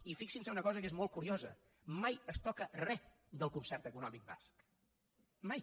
i fixinse en una cosa que és molt curiosa mai es toca re del concert econòmic basc mai